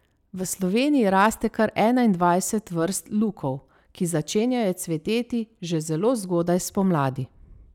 V Sloveniji raste kar enaindvajset vrst lukov, ki začenjajo cveteti že zelo zgodaj spomladi.